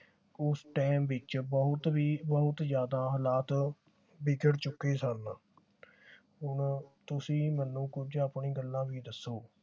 ਉਸ ਟੈਮ ਵਿਚ ਬਹੁਤ ਹੀ ਬਹੁਤ ਜਿਆਦਾ ਹਾਲਾਤ ਵਿਗੜ ਚੁਕੇ ਸਨ ਹੁਣ ਤੁਸੀਂ ਮੈਨੂੰ ਕੁਝ ਆਪਣੀ ਗੱਲਾਂ ਵੀ ਦੱਸੋ